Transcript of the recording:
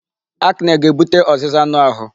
Acne ga-ebute ọzịza anụ ahụ.